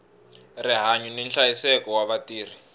rihanyu ni nhlayiseko wa vatirhi